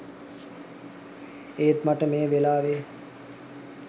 ඒත් මට මේ වෙලාවෙ